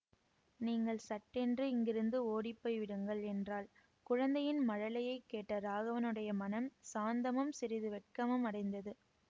நீங்கள் சட்டென்று இங்கிருந்து ஓடிப்போய் விடுங்கள் என்றாள் குழந்தையின் மழலையைக் கேட்ட ராகவனுடைய மனம் சாந்தமும் சிறிது வெட்கமும் அடைந்தது